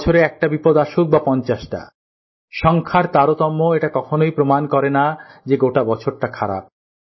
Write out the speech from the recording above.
বছরে একটা বিপদ আসুক বা পঞ্চাশটা সংখ্যার তারতম্য এটা কখনই প্রমান করেনা যে গোটা বছরটা খারাপ